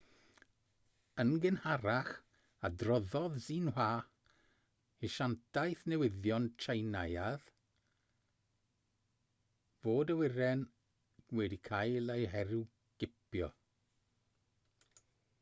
yn gynharach adroddodd xinhua asiantaeth newyddion tsieineaidd fod awyren wedi cael ei herwgipio